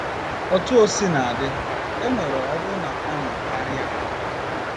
Otú o sina dị, enwere ọbụna ọṅụ karịa.